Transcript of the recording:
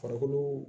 Farikolo